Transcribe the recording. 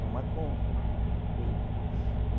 Toma conta, fica tudo feio.